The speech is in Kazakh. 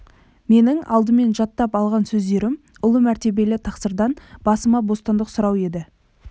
менің алдымен жаттап алған сөздерім ұлы мәртебелі тақсырдан басыма бостандық сұрау еді